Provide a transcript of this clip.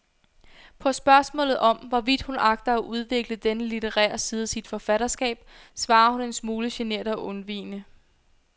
På spørgsmålet om, hvorvidt hun agter at udvikle denne litterære side af sit forfatterskab, svarer hun en smule genert og undvigende.